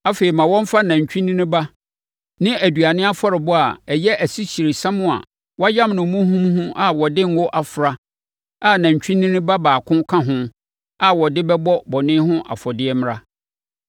Afei, ma wɔmfa nantwinini ba ne aduane afɔrebɔdeɛ a ɛyɛ asikyiresiam a wɔayam no muhumuhu a wɔde ngo afra a nantwinini ba baako ka ho a wɔde no bɛbɔ bɔne ho afɔdeɛ mmra.